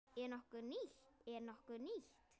Er nokkuð nýtt?